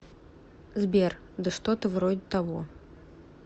сбер да что то вроде того